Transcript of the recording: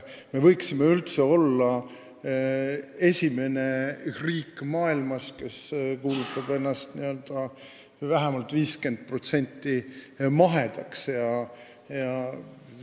Me võiksime üldse olla esimesed maailmas, kes kuulutavad ennast vähemalt 50% ulatuses mahedaks riigiks.